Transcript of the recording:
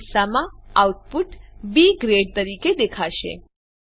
આ કિસ્સામાં output B grade તરીકે દેખાશે